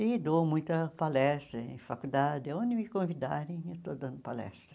E dou muita palestra em faculdade, onde me convidarem eu estou dando palestra.